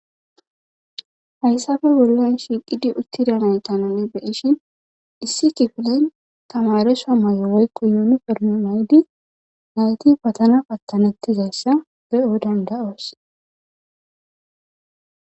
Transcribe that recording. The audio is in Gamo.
hayssafe wollon shiiqidi uttida nay tananne beishin dhissi kifileyn tamaresha may'o woykqo yuuniferno maydi nayti patana pattanettizayssa be'o dandaoos.